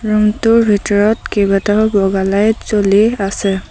Room টোৰ ভিতৰত কেইবাটাও বগা লাইট জ্বলি আছে।